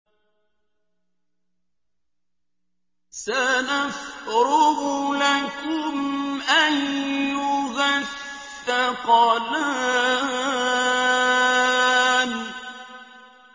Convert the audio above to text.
سَنَفْرُغُ لَكُمْ أَيُّهَ الثَّقَلَانِ